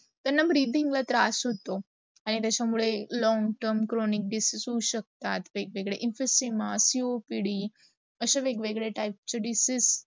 त्यांना breathing ला त्रास होतो. आणी त्याचा मुडे long term cronic disease होउ शकतो. वेग- वेगडा asema, CUPD, असा वेग- वेगडा type disease